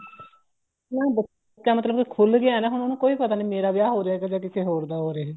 ਜੇ ਬੱਚਾ ਮਤਲਬ ਕੇ ਖੁੱਲ ਗਿਆ ਨਾ ਹੁਣ ਉਹਨੂੰ ਕੋਈ ਪਤਾ ਨੀ ਮੇਰਾ ਵਿਆਹ ਜਾਂ ਕਿਸੇ ਹੋਰ ਦਾ ਹੋ ਰਿਹਾ